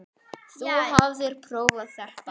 Þú hafðir prófað þetta allt.